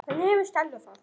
Hvernig hefur Stella það?